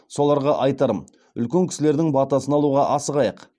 соларға айтарым үлкен кісілердің батасын алуға асығайық